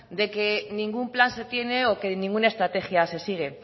de que ningún plan se tiene o que ninguna estrategia se sigue